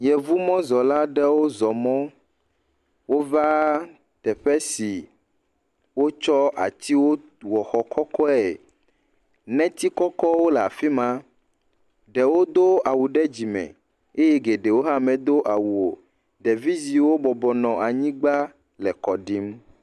Yevumɔzɔla aɖewo zɔ mɔ. Wova teƒe si wotsɔ atsiwo tu exɔ kɔkɔe. Neti kɔkɔwo le afi ma. Ɖewo do awu ɖe dzime eye geɖewo hã medo awu o. Ɖevi ziwo bɔbɔnɔ anyigba le kɔɖim.